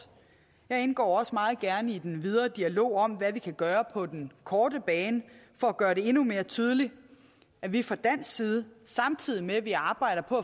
jeg indgår også meget gerne i den videre dialog om hvad vi kan gøre på den korte bane for at gøre det endnu mere tydeligt at vi fra dansk side samtidig med at vi arbejder på